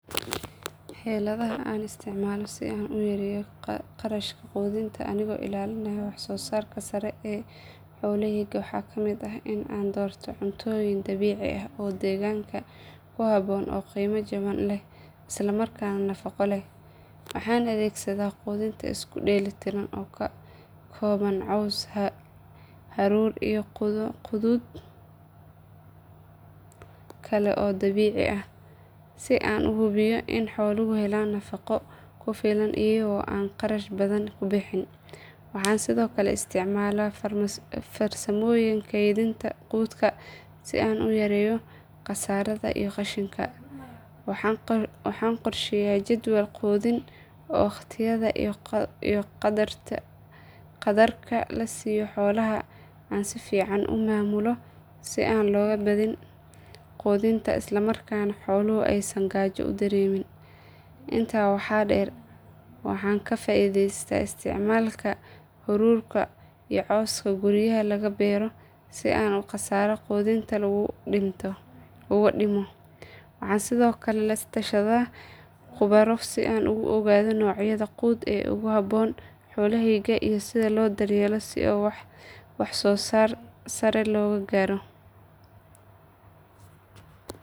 Xeeladaha aan isticmaalo si aan u yareeyo kharashka quudinta anigoo ilaalinaya wax soo saarka sare ee xoolahayga waxaa ka mid ah in aan doorto cuntooyin dabiici ah oo deegaanka ku habboon oo qiimo jaban leh isla markaana nafaqo leh. Waxaan adeegsadaa quudin isku dheelitiran oo ka kooban caws, haruur iyo quud kale oo dabiici ah si aan u hubiyo in xooluhu helaan nafaqo ku filan iyagoo aan kharash badan ku bixin. Waxaan sidoo kale isticmaalaa farsamooyin kaydinta quudka si aan u yareeyo khasaaraha iyo qashinka. Waxaan qorsheeyaa jadwal quudin oo waqtiyada iyo qadarka la siiyo xoolaha aan si fiican u maamulo si aan looga badin quudinta islamarkaana xooluhu aysan gaajo u dareemin. Intaa waxaa dheer waxaan ka faa’iidaystaa isticmaalka haruurka iyo cawska guryaha laga beero si aan kharashka quudinta uga dhimo. Waxaan sidoo kale la tashadaa khubaro si aan u ogaado noocyada quud ee ugu habboon xoolahayga iyo sida loo daryeelo si wax soo saar sare loo gaaro.